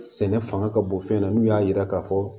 Sɛnɛ fanga ka bon fɛn na n'u y'a yira k'a fɔ